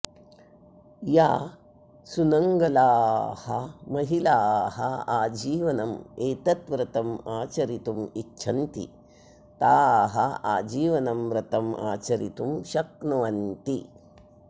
याः सुनङ्गलाः महिलाः आजीवनम् एतं व्रतम् आचरितुमिच्छन्ति ताः आजीवनं व्रतम् आचरितुं शक्नुवन्ति